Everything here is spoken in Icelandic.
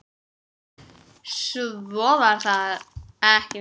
Svo var það ekki meir.